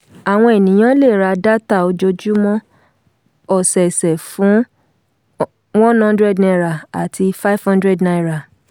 àwọn ènìyàn lè ra dátà ojoojúmọ́ ọ̀sẹ̀ọ̀sẹ̀ fún one hundred naia àti five hundred naira.